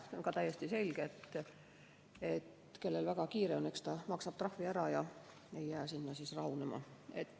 See on ka täiesti selge, sest eks see, kellel väga kiire on, maksab trahvi ära ega jää sinna rahunema.